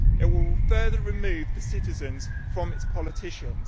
It will further remove the citizens from its politicians.